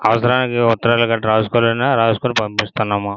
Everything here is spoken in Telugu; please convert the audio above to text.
అవసరానికి ఉత్తరాలు రాసులే రాసుకుని పంపిస్తున్నాను.